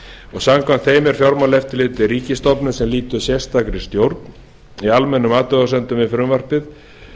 og samkvæmt þeim er fjármálaeftirlitið ríkisstofnun sem lýtur sérstakri stjórn í almennum athugasemdum við frumvarpið